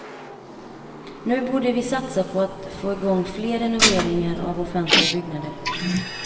Nu borde vi satsa på att få igång fler renoveringar av offentliga byggnader.